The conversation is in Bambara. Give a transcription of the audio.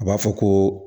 A b'a fɔ ko